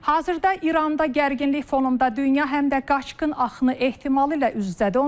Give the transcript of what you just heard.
Hazırda İranda gərginlik fonunda dünya həm də qaçqın axını ehtimalı ilə üz-üzədir.